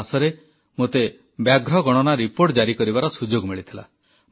ଗତମାସରେ ମୋତେ ବ୍ୟାଘ୍ର ଗଣନା ରିପୋର୍ଟ ଉନ୍ମୋଚନ କରିବାର ସୁଯୋଗ ମିଳିଥିଲା